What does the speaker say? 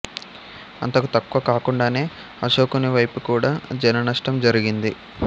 అంతకు తక్కువ కాకుండానే అశోకుని వైపు కూడా జననష్టం జరిగింది